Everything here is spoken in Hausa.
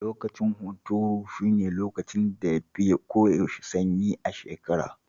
Lokacin hunturu shine lokacin da ya fi ko yaushe sanyi a shekara.